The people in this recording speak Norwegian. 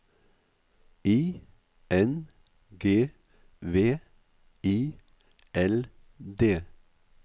I N G V I L D